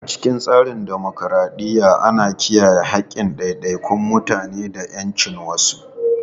A cikin tsarin dimokuradiyya, ana kiyaye haƙƙin ɗaiɗaikun mutane da ƴancinsu.